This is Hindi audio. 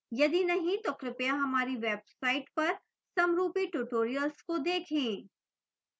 यदि नहीं तो कृपया हमारी website पर समरूपी tutorials को देखें